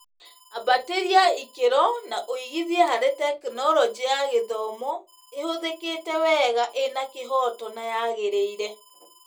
Ambatĩria ĩkĩro na ũigithie harĩa Tekinoronjĩ ya Gĩthomo ĩhũthĩkĩte wega, ĩna kĩhooto na yagĩrĩire.